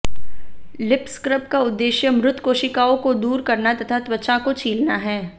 lip scrub का उद्देश्य मृत कोशिकाओं को दूर करना तथा त्वचा को छीलना है